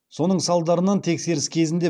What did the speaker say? сонын салдарынан тексеріс кезінде